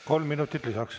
Kolm minutit lisaks.